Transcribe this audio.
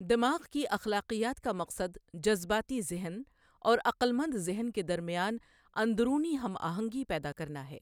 دماغ کی اخلاقیات کا مقصد جذباتی ذہن اور عقلمند ذہن کے درمیان اندرونی ہم آہنگی پیدا کرنا ہے۔